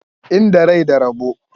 Inda rai da rabo.